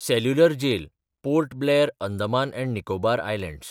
cellular jail (Port Blair, Andaman and Nicobar islands)